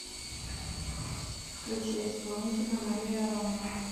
включи исполнителя мария аронова